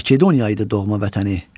Makedoniya idi doğma vətəni.